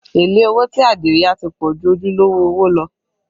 Èlé owó tí Adio yá ti pọ̀ ju ojúlówó owó lọ